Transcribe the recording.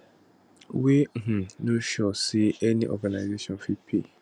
wey um no sure say any organisation fit pay